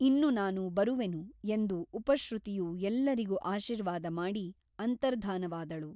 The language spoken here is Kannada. ಇನ್ನು ನಾನು ಬರುವೆನು ಎಂದು ಉಪಶ್ರುತಿಯು ಎಲ್ಲರಿಗು ಆಶೀರ್ವಾದ ಮಾಡಿ ಅಂತರ್ಧಾನವಾದಳು.